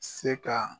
Se ka